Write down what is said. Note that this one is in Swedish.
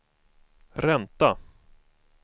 ränta